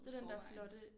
Det den der flotte